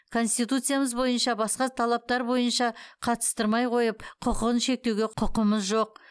конституциямыз бойынша басқа талаптар бойынша қатыстырмай қойып құқығын шектеуге құқымыз жоқ